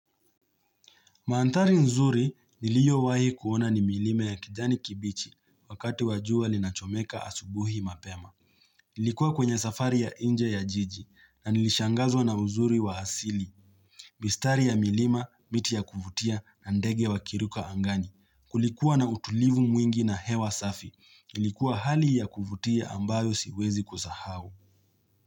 Mandhari nzuri niliyo wahi kuona ni milima ya kijani kibichi wakati wa jua linachomoka asubuhi mapema. Nilikuwa kwenye safari ya nje ya jiji na nilishangazwa na uzuri wa asili. Bistari ya milima, miti ya kuvutia na ndege wa kiruka angani. Kulikuwa na utulivu mwingi na hewa safi. Ilikuwa hali ya kuvutia ambayo siwezi kusahau.